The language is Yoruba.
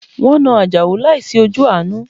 Wọn na ajao láìsí ojú àánú